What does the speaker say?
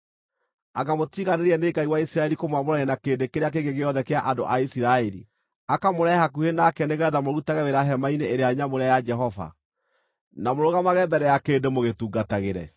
Anga mũtiganĩire nĩ Ngai wa Isiraeli kũmwamũrania na kĩrĩndĩ kĩrĩa kĩngĩ gĩothe kĩa andũ a Isiraeli, akamũrehe hakuhĩ nake nĩgeetha mũrutage wĩra hema-inĩ ĩrĩa nyamũre ya Jehova, na mũrũgamage mbere ya kĩrĩndĩ mũgĩtungatagĩre?